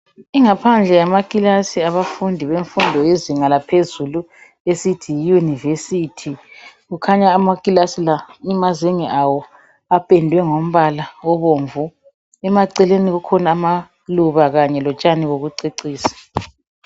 Ingaphandle yamakilasi yabafundi bemfundo yezinga laphezulu esithi yiYunivesithi kukhanya amakilasi la amazenge awo apendwe ngombala obomvu emaceleni kukhona amaluba kanye lotshani bokucecisa.